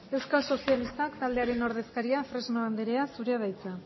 euskal sozialistak taldearen ordezkaria fresno andrea zurea da hitza